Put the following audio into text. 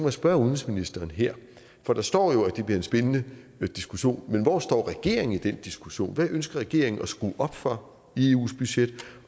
at spørge udenrigsministeren her for der står jo at det bliver en spændende diskussion om hvor regeringen står i den diskussion hvad ønsker regeringen at skrue op for i eus budget